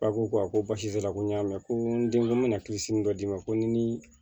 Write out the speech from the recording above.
A ko ko a ko basi t'a la ko n y'a mɛn ko n den ko n bɛna dɔ d'i ma ko ni